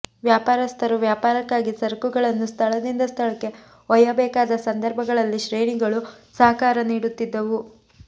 ವ್ಯಾಪಾರಸ್ಥರು ವ್ಯಾಪಾರಕ್ಕಾಗಿ ಸರಕುಗಳನ್ನು ಸ್ಥಳದಿಂದ ಸ್ಥಳಕ್ಕೆ ಒಯ್ಯಬೇಕಾದ ಸಂದರ್ಭಗಳಲ್ಲಿ ಶ್ರೇಣಿಗಳು ಸಹಕಾರ ನೀಡುತ್ತಿದ್ದವು